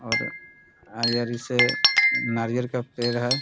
और नारियल का पेड़ है ।